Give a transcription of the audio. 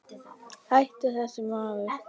Hættu þessu maður!